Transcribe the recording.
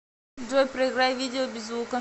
джой проиграй видео без звука